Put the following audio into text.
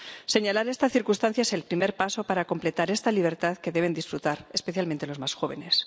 Señalar esta circunstancia es el primer paso para completar esta libertad, que deben disfrutar, especialmente, los más jóvenes.